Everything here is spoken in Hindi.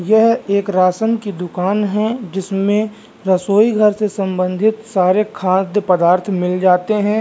यह एक राशन की दुकान है जिसमें रसोई घर के संबंधित सारे खाद्य पदार्थ मिल जाते हैं।